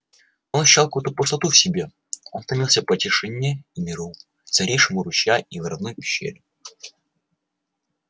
он ощущал какую-то пустоту в себе он томился по тишине и миру царившим у ручья и в родной пещере